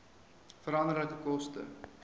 veranderlike koste